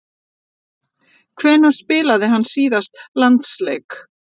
Hvenær spilaði hann síðast landsleik?